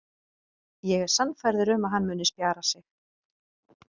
Ég er sannfærður um að hann muni spjara sig.